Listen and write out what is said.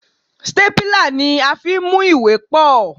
Stépìlà ni a fi ń mú ìwé pọ̀.